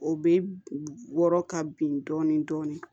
O bɛ wɔrɔ ka bin dɔɔni dɔɔni